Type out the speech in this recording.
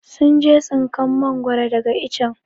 sun je tsinkan mangoro daga ichen.